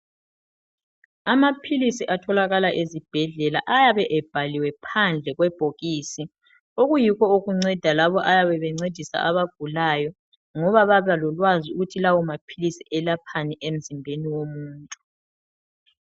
amaphilisi atholakala ezibhedlela ayabe ebhaliwe phandle kwebhokisi okuyikho okunceda labo ayabe bencedisa abagulayo ngoba baba lolwazi ukuthi lawo maphilisi elaphani emzimbeni womuntu